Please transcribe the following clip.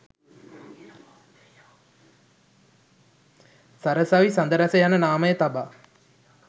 සරසවි සඳරැස යන නාමය තබා